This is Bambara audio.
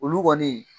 Olu kɔni